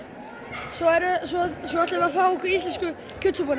svo ætlum við að fá okkur íslensku